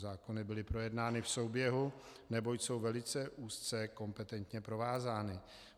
Zákony byly projednány v souběhu, neboť jsou velice úzce kompetentně provázány.